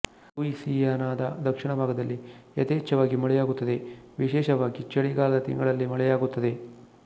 ಲೂಯಿಸಿಯಾನ ದ ದಕ್ಷಿಣಭಾಗದಲ್ಲಿ ಯಥೇಚ್ಛವಾಗಿ ಮಳೆಯಾಗುತ್ತದೆ ವಿಶೇಷವಾಗಿ ಚಳಿಗಾಲದ ತಿಂಗಳಲ್ಲಿ ಮಳೆಯಾಗುತ್ತದೆ